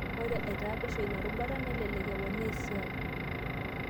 Ore aitaa pesho ina rubata, nelelek eponaaesiai.